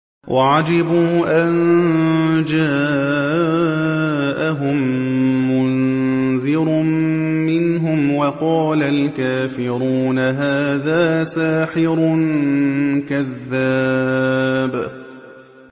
وَعَجِبُوا أَن جَاءَهُم مُّنذِرٌ مِّنْهُمْ ۖ وَقَالَ الْكَافِرُونَ هَٰذَا سَاحِرٌ كَذَّابٌ